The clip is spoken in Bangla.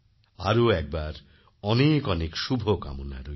আরও একবার অনেক অনেক শুভকামনা রইল